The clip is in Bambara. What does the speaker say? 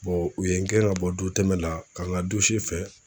u ye n gɛn ka bɔ don tɛmɛ la, ka n ka fɛn